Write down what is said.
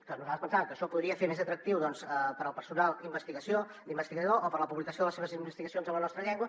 que nosaltres pensàvem que això podria fer més atractiu per al personal investigador o per a la publicació de les seves investigacions en la nostra llengua